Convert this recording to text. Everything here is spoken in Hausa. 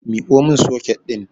Miko mun soket ɗin